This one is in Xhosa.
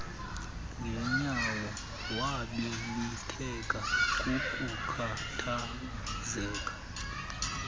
ngenyawo wabibitheka kukukhathazeka